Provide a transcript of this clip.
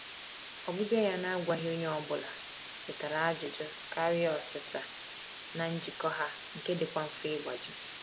Ọbịbịa ya na-agwaghị onye ọbụla wetara ajụjụ karịa ọsịsa na njikọ ha nke dịkwa mfe ịgbaji.